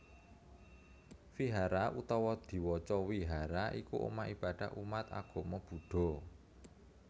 Vihara utawa diwaca Wihara iku omah ibadah umat agama Buddha